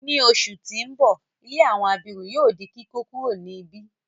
Ni oṣù ti n bọ, ilé àwọn abirùn yóò di kíkókuro ni ibi.